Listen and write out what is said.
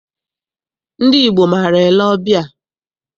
Ndị Igbo maara ele ọbịa.